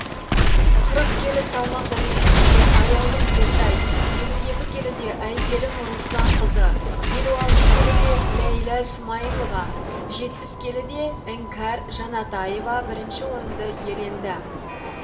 қырық келі салмақ дәрежесінде аяулым сертай елу екі келіде әйгерім русланқызы елу алты келіде ләйлә смаилова жетпіс келіде іңкәр жанатаева бірінші орынды иеленді